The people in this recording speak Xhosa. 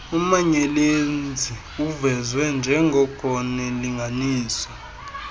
umanyelenzi uvezwe njengornlinganiswa